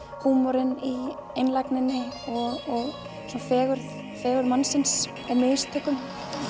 húmorinn í einlægninni og fegurð fegurð mannsins í mistökum